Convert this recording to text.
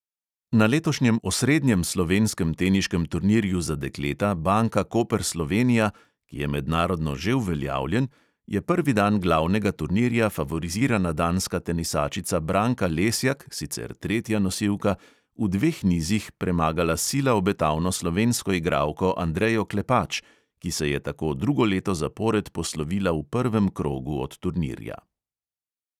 Na letošnjem osrednjem slovenskem teniškem turnirju za dekleta, banka koper slovenija, ki je mednarodno že uveljavljen, je prvi dan glavnega turnirja favorizirana danska tenisačica branka lesjak, sicer tretja nosilka, v dveh nizih premagala sila obetavno slovensko igralko, andrejo klepač, ki se je tako drugo leto zapored poslovila v prvem krogu od turnirja.